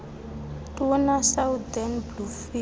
tuna southern bluefin